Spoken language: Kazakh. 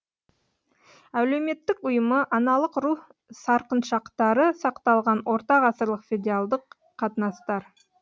әлеуметтік ұйымы аналық ру сарқыншақтары сақталған ортағасырлық федеалдық қатынастар